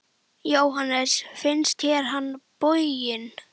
Jóhannes: Finnst þér hann boginn?